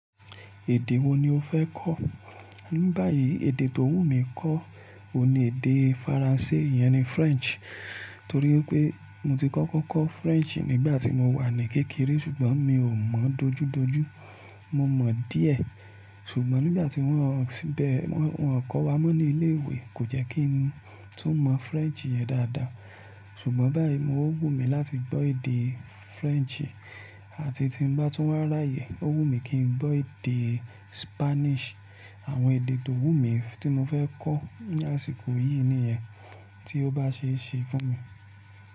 Èdè wo ni o fẹ́ kọ́? Ní báyìí, èdè tó wù mí kọ́ òun ni èdè Faransé, ìyẹn ni French. Torí pé mo ti kọ́kọ́ kọ́ French nígbà tí mo wà ní kékeré ṣùgbọ́n mi ò mọ̀ dojúdojú, mo mọ̀ díẹ̀. Ṣùgbọ́n nígbà tí wọ́n ń bẹ̀, wọ́n ń kọ́ wa mọ́ ní ilé ìwé kò jẹ́ kí n tún mọ French yẹn dáadáa. Ṣùgbọ́n báyìí mo wù mí láti gbọ́ èdè French àti tí ń bá tún wà ráyè, ó wù mí kí n gbọ́ èdè Spanish. Àwọn èdè tó wù mí tí mo fẹ́ kọ́ lásìkò yìí nìyẹn tí ó bá ṣe é ṣe fún mi.